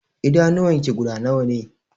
Idanuwan ki guda nawa ne?